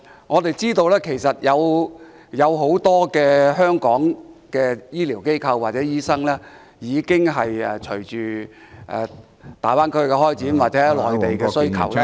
我們知道其實香港有很多醫療機構及醫生，隨着大灣區的開展或內地的需求......